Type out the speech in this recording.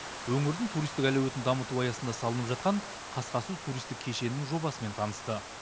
өңірдің туристік әлеуетін дамыту аясында салынып жатқан қасқасу туристік кешенінің жобасымен танысты